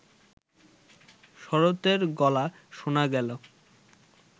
শরতের গলা শোনা গেল